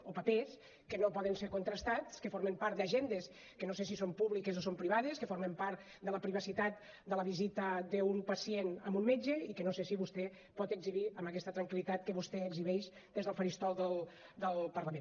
o papers que no poden ser contrastats que formen part d’agendes que no sé si són públiques o són privades que formen part de la privacitat de la visita d’un pacient a un metge i que no sé si vostè pot exhibir amb aquesta tranquil·litat que vostè exhibeix des del faristol del parlament